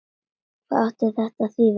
Hvað átti það að þýða?